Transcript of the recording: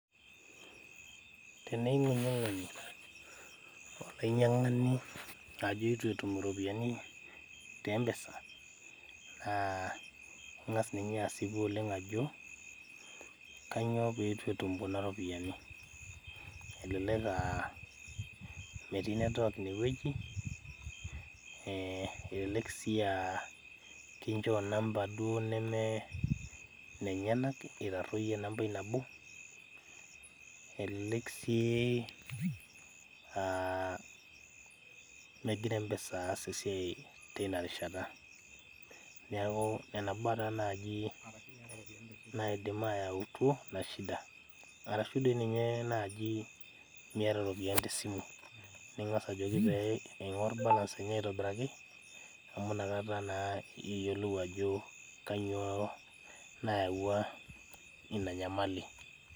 Teneing'unying'unyolainyiang'ani ajo itu etum iropiyiani te mpesa naa ing'as ninye asipu oleng ajo kanyio petu etum kuna ropiyiani elelek aa metii network inewueji eh elelek sii uh kinchoo inamba duo neme nenyenak itaruoyie enambai nabo elelek sii uh megira mpesa aas esiai teina rishata niaku nena baa taa naaji naidim ayautu ina shida arashu doi ninye naaji miata iropiyiani tesimu ning'as ajoki pee ing'orr balance enye aitobiraki amu inakata naa iyiolou ajo kanyio nayawua ina nyamali.